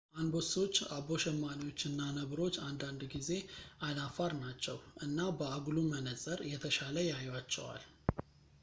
አንበሶች አቦ ሸማኔዎች እና ነብሮች አንዳንድ ጊዜ አይናፋር ናቸው እና በአጉሉ መነጽር የተሻለ ያዩአቸዋል